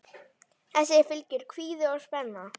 Þessu fylgir kvíði og spenna.